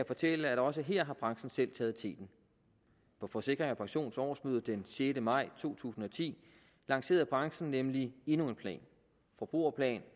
fortælle at også her har branchen selv taget teten på forsikring pensions årsmøde den sjette maj to tusind og ti lancerede branchen nemlig endnu en plan forbrugerplan